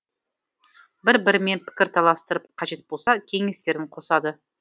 бір бірімен пікір таластырып қажет болса кеңестерін қосады